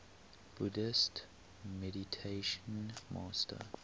buddhist meditation master